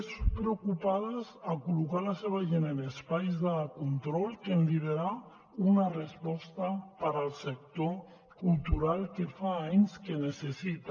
més preocupades a col·locar la seva gent en espais de control que en liderar una resposta per al sector cultural que fa anys que necessita